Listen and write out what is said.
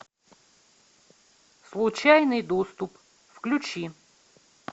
случайный доступ включи